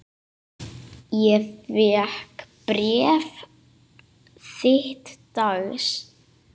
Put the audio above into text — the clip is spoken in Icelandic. Ég fékk bréf þitt dags.